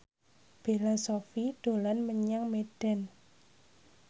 Bella Shofie dolan menyang Medan